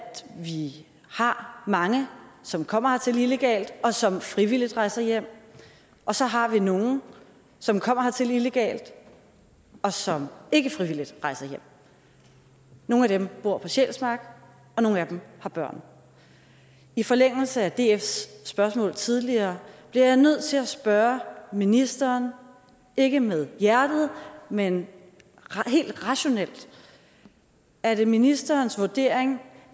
vi har mange som kommer hertil illegalt og som frivilligt rejser hjem og så har vi nogle som kommer hertil illegalt og som ikke frivilligt rejser hjem nogle af dem bor på sjælsmark og nogle af dem har børn i forlængelse af dfs spørgsmål tidligere bliver jeg nødt til at spørge ministeren ikke med hjertet men helt rationelt er det ministerens vurdering